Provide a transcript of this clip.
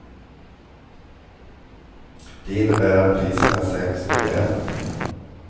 Det innebär att priserna sänks rejält.